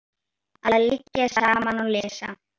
Að liggja saman og lesa.